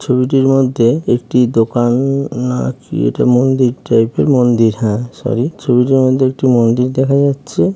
ছবিটির মধ্যেএকটি দো-কা-ন না কি এটা মন্দির টাইপ -এর মন্দির হ্যা সরি ছবিটির মধ্যে একটি মন্দির দেখা যাচ্ছে ।